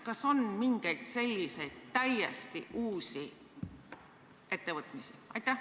Kas on mingeid selliseid täiesti uusi ettevõtmisi?